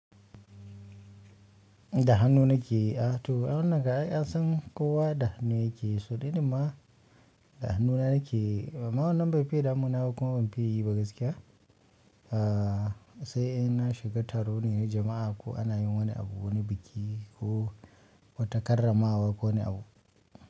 Da hannu nake, a to ai wannan kan ai an san kowa dabhannu yake yi, so ni ɗin ma dahannu na nake yi. Amma wannan bai fiya damu na ba kuma ban fiyi yi ba gaskiya. A sai in na shiga taro ne, na jama'a ko ana yin wani abu, wani biki ko wata karramawa ko wani abu.